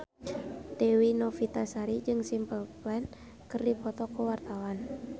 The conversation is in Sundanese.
Dewi Novitasari jeung Simple Plan keur dipoto ku wartawan